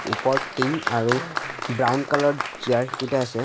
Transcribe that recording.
ওপৰত টিং আৰু ব্ৰাউন কালাৰ চিয়াৰ কিটা আছে।